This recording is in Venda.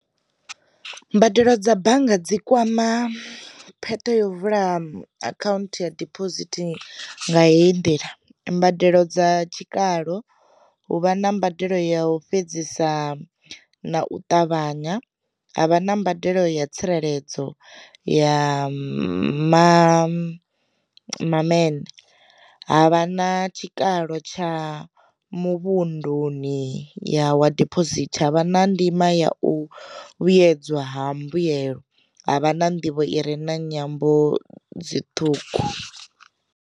Mbadelo dza bannga dzi kwama pheṱa yo vula akhaunthu ya diphosithi nga heyi ndila, mbadelo dza tshikalo hu vha na mbadelo ya u fhedzisa na u ṱavhanya, havha na mbadelo ya tsireledzo ya ma mamene, ha vha na tshikalo tsha muvhunduni ya wa diphosithi, ha vha na ndima ya u vhuyedzwa ha mbuyelo, ha vha na nḓivho i re na nyambo dzi ṱhukhu.